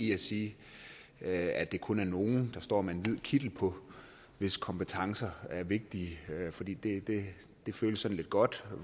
i at sige at det kun er nogle der står med en hvid kittel på hvis kompetencer er vigtige fordi det føles sådan lidt godt